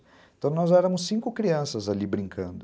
Então, nós éramos cinco crianças ali brincando.